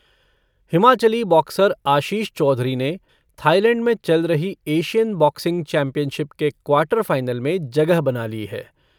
Himachali boxer Ashish Chaudhary ने Thailand में चल रही एशियन बॉक्सिंग चैंपियनशिप के क्वार्टर फ़ाइनल में जगह बना ली है।